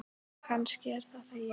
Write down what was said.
Og kannski er þetta ég.